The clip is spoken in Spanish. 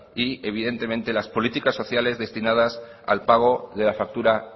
y evidentemente las políticas sociales destinadas al pago de la factura